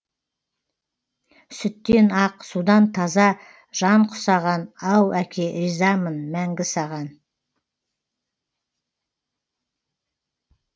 сүттен ақ судан таза жан құсаған ау әке ризамын мәңгі саған